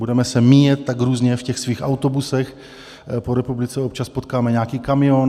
Budeme se míjet tak různě v těch svých autobusech po republice, občas potkáme nějaký kamion.